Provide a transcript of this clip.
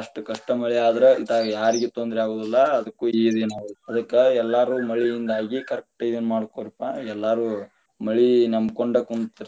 ಅಷ್ಟಕಷ್ಟ ಮಳಿಯಾದ್ರ ಇತ್ತಾಗ ಯಾರಿಗಿ ತೊಂದರಿ ಆಗುದಿಲ್ಲಾ ಅದಕ್ಕೂ ಇದ ಏನಾಗುದಿಲ್ಲಾ, ಅದಕ್ಕ ಎಲ್ಲರೂ ಮಳಿಯಿಂದಾಗಿ correct ಇದ ಮಾಡ್ಕೊರಿ ಅಪ್ಪ ಎಲ್ಲಾರು ಮಳಿ ನಂಬಕೊಂಡ ಕುಂತೀರ್ತಾರ.